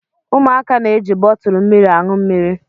Ụmụaka na-eji bọtụlụ mmiri aṅụ mmiri.